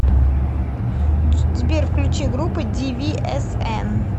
сбер включи группу дивиэсэн